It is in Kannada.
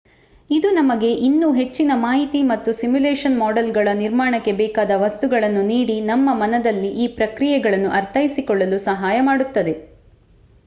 ಇದು ನಮಗೆ ಇನ್ನೂ ಹೆಚ್ಚಿನ ಮಾಹಿತಿ ಮತ್ತು ಸಿಮ್ಯುಲಷನ್ ಮಾಡೆಲ್ಗಳ ನಿರ್ಮಾಣಕ್ಕೆ ಬೇಕಾದ ವಸ್ತುಗಳನ್ನು ನೀಡಿ ನಮ್ಮ ಮನದಲ್ಲಿ ಈ ಪ್ರಕ್ರಿಯೆಗಳನ್ನು ಅರ್ಥೈಸಿಕೊಳ್ಳಲು ಸಹಾಯ ಮಾಡುತ್ತದೆ